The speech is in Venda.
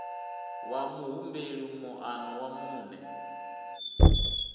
wa muhumbeli moano wa muṋe